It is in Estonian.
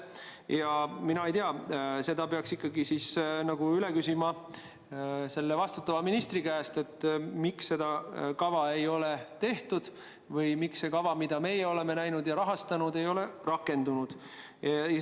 Ja mina ei tea, seda peaks ikkagi üle küsima selle vastutava ministri käest, miks seda kava ei ole tehtud või miks see kava, mida meie oleme näinud ja rahastanud, ei ole rakendunud.